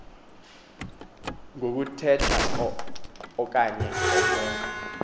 ngokuthetha okanye ukwenza